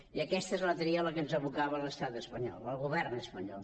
i aquesta és la tria a la que ens abocava l’estat espanyol el govern espanyol